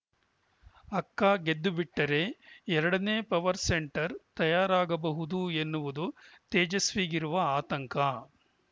ಅಕ್ಕ ಗೆದ್ದುಬಿಟ್ಟರೆ ಎರಡನೇ ಪವರ್‌ ಸೆಂಟರ್‌ ತಯಾರಾಗಬಹುದು ಎನ್ನುವುದು ತೇಜಸ್ವಿಗಿರುವ ಆತಂಕ